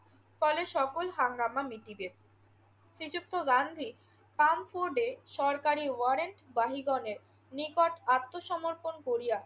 ফলে সকল হাঙ্গামা মিটিবে। শ্রীযুক্ত গান্ধী ফ্রাঙ্কফুর্টে সরকারি ওয়ারেন্টবাহীগণের নিকট আত্মসমর্পণ করিয়া